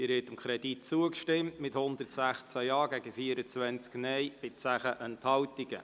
Sie haben diesem Kredit zugestimmt mit 116 Ja- gegen 24 Nein-Stimmen bei 10 Enthaltungen.